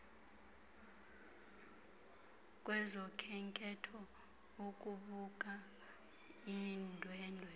kwezokhenketho ukubuka iindwendwe